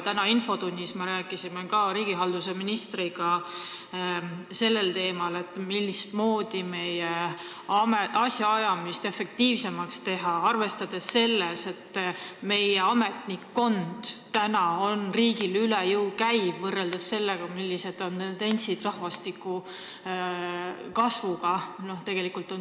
Tänases infotunnis me rääkisime ka riigihalduse ministriga sellest, kuidas teha meie asjaajamist efektiivsemaks, arvestades seda, et meie ametnikkond käib riigile üle jõu, arvestades, et meie rahvastik ei kasva, vaid väheneb.